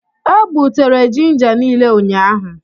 E gbutere ginja niile ụnyahụ.